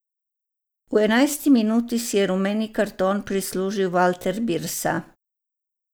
V enajsti minuti si je rumeni karton prislužil Valter Birsa.